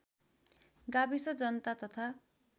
गाविस जनता तथा